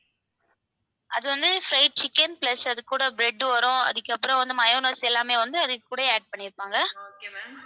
அது வந்து fried chicken plus அதுக்கூட bread வரும் அதுக்கப்புறம் வந்து mayonnaise எல்லாமே வந்து அது கூடயே add பண்ணிருப்பாங்க.